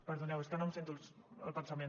perdoneu és que no em sento el pensament